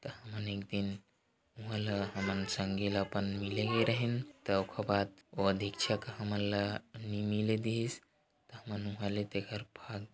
हमन एक दिन उहे ल हमन एक झन संगी ल अपन मिले गे रहेन त ओखर बाद वो दीक्षक ह नई मिले दिहिस त हमन उहे ले तेखर भा--